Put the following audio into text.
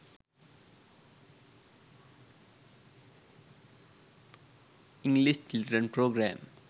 english children program